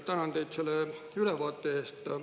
Tänan teid selle ülevaate eest.